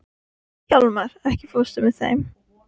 Hjálmar, ekki fórstu með þeim?